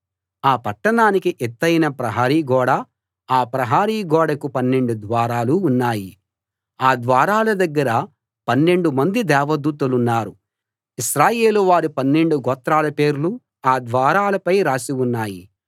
ఆ పట్టణానికి ఎత్తయిన ప్రహరీ గోడా ఆ ప్రహరీ గోడకు పన్నెండు ద్వారాలూ ఉన్నాయి ఆ ద్వారాల దగ్గర పన్నెండు మంది దేవదూతలున్నారు ఇశ్రాయేలు వారి పన్నెండు గోత్రాల పేర్లూ ఆ ద్వారాలపై రాసి ఉన్నాయి